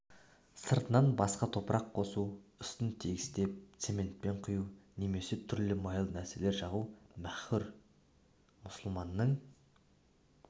сырттан басқа топырақ қосу үстін тегістеп цементпен құю немесе түрлі майлы нәрселер жағу мәкрүһ мұсылманның